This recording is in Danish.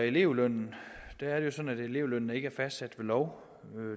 elevlønnen er det sådan at elevlønnen ikke er fastsat ved lov